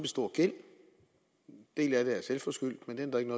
stor gæld en del af det er selvforskyldt men det ændrer ikke